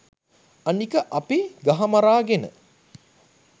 අනික අපි ගහමරාගෙන